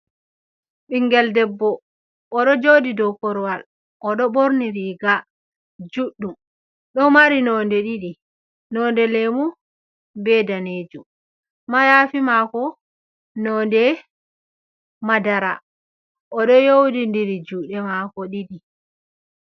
Ɓingel deɓɓo oɗo joɗi dow korwal odo ɓorni riiga juɗɗum do mari nonde ɗiɗi nonde lemu, be danejum ma yafi mako nonde madara odo yowɗi diri juɗe mako ɗiɗi.